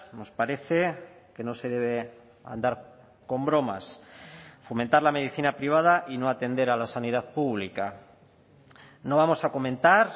nos parece que no se debe andar con bromas fomentar la medicina privada y no atender a la sanidad pública no vamos a comentar